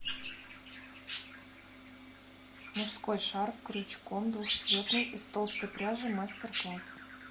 мужской шарф крючком двухцветный из толстой пряжи мастер класс